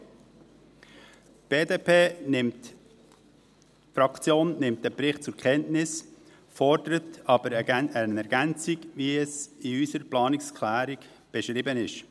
Die BDP-Fraktion nimmt den Bericht zur Kenntnis, fordert aber eine Ergänzung, wie es in unserer Planungserklärung beschrieben ist.